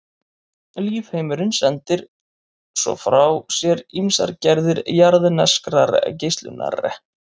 Lífheimurinn sendir svo frá sér ýmsar gerðir jarðneskrar geislunar.